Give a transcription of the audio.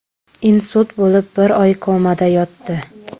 Insult bo‘lib, bir oy komada yotdi.